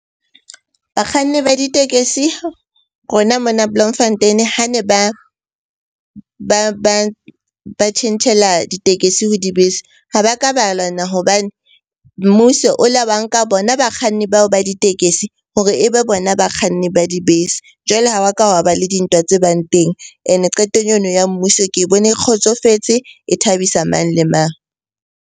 Bakganni ba ditekesi rona mona Bloemfontein-e ha ne ba tjhentjhela ditekesi ho dibese. Ha ba ka ba lwana hobane mmuso o la ba nka bona bakganni bao ba ditekesi hore ebe bona bakganni ba dibese. Jwale ha wa ka wa wa ba le dintwa tse bang teng. Ene qetong eno ya mmuso ke bone e kgotsofetse, e thabisa mang le mang.